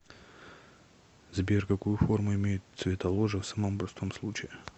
сбер какую форму имеет цветоложе в самом простом случае